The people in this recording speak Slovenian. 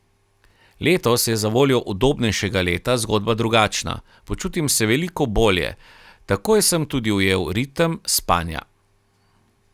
Letos je zavoljo udobnejšega leta zgodba drugačna, počutim se veliko bolje, takoj sem tudi ujel ritem spanja.